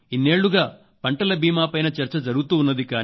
ఇన్నేళ్ళుగా పంటల బీమా పైన చర్చ జరుగుతూ ఉన్నది